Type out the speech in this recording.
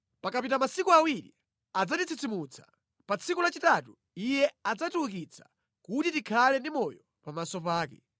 Pakapita masiku awiri adzatitsitsimutsa; pa tsiku lachitatu Iye adzatiukitsa kuti tikhale ndi moyo pamaso pake.